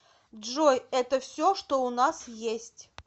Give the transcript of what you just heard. джой это все что у нас есть